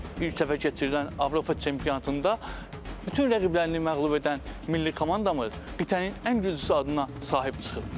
İlk dəfə keçirilən Avropa çempionatında bütün rəqiblərini məğlub edən milli komandamız qitənin ən güclüsü adına sahib çıxıb.